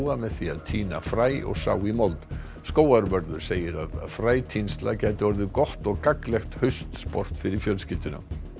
með því að tína fræ og sá í mold skógarvörður segir að frætínsla gæti orðið gott og gagnlegt fyrir fjölskylduna